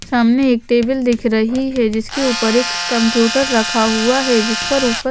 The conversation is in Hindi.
सामने एक टेबल दिख रहीं हैं जिसके ऊपर एक कंप्यूटर रखा हुवा हैं जिस पर ऊपर--